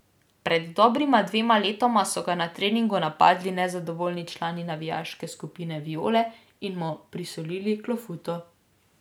Pred dobrima dvema letoma so ga na treningu napadli nezadovoljni člani navijaške skupine Viole in mu prisolili klofuto.